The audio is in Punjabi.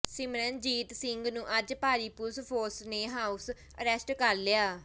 ਸਿਮਰਨਜੀਤ ਸਿੰਘ ਨੂੰ ਅੱਜ ਭਾਰੀ ਪੁਲਿਸ ਫੋਰਸ ਨੇ ਹਾਊਸ ਅਰੈਸਟ ਕਰ ਲਿਆ